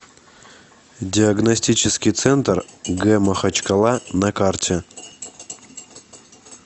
диагностический центр г махачкала на карте